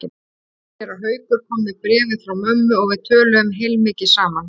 Séra Haukur kom með bréfið frá mömmu og við töluðum heilmikið saman.